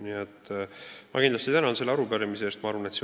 Nii et ma väga tänan selle arupärimise eest!